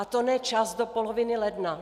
A to ne čas do poloviny ledna.